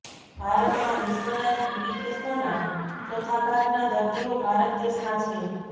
ભારતમાં વિશ્વના ટીબી કેસોના ચોથા ભાગના દર્દીઓ ભારત દેશમાં છે